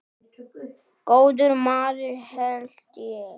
Góður maður held ég.